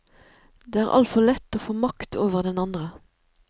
Det er altfor lett å få makt over den andre.